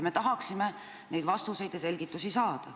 Me tahaksime neid vastuseid ja selgitusi saada.